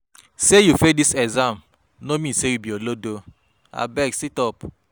Sey you fail dis exam no mean sey you be olodo abeg sit-up.